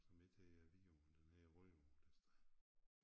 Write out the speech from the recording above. Som ikke hedder Vidå den hedder Rødå det sted